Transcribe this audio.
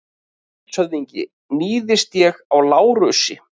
LANDSHÖFÐINGI: Níðist ég á Lárusi?